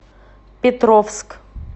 петровск